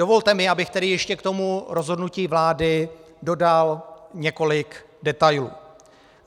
Dovolte mi, abych tedy ještě k tomu rozhodnutí vlády dodal několik detailů.